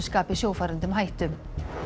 skapi sjófarendum hættu